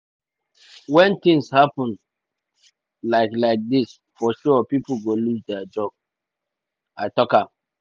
“wen tins happun like like dis for sure pipo go lose dia job” im tok.